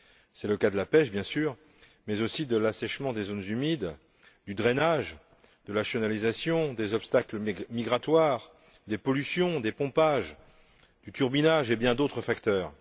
C'est le cas de la pêche, bien sûr, mais aussi de l'assèchement des zones humides, du drainage, de la chenalisation, des obstacles migratoires, des pollutions, du pompage, du turbinage et de bien d'autres facteurs.